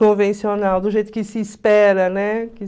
Convencional, do jeito que se espera, né?